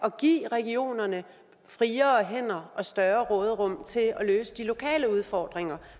at give regionerne friere hænder og større råderum til at løse de lokale udfordringer